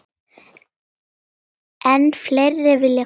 Enn fleiri vilja koma.